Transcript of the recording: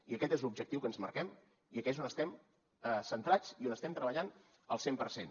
i aquest és l’objectiu que ens marquem i aquí és on estem centrats i on estem treballant al cent per cent